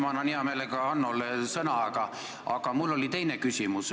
Ma kohe annan hea meelega Hannole sõna, aga mul oli üks teine küsimus.